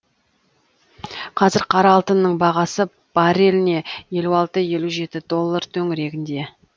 қазір қара алтынның бағасы барреліне елу алты елу жеті доллар төңірегінде